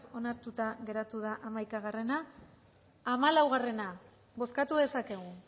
onartuta geratu da hamaikaa hamalau bozkatu dezakegu